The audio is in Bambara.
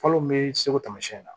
Falo mun bɛ seko tamasiyɛn na